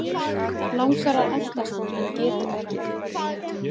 Langar að elta hann en getur ekki.